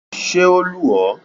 Ṣé o lù ọ́?